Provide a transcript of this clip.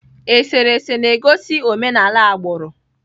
Eserese na-egosi omenala agbụrụ.